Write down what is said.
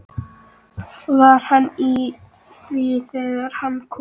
Var hann í því þegar hann kom?